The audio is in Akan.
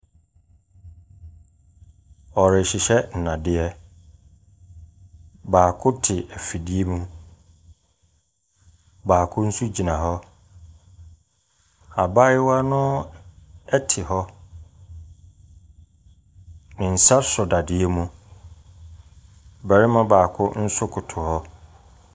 Wɔrehyehyɛ nnadeɛ, baako te afidie mu, baako nso gyina hɔ, abaayewa no te hɔ, ne nsa sɔ dadeɛ mu, barima baako nso koto hɔ.